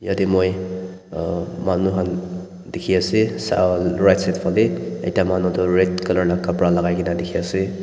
yatae moi ah manu han dikhiase right side falae ekta manu toh red colour la kapra lakai kaena dikhiase.